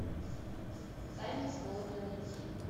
тайны смолвиля найти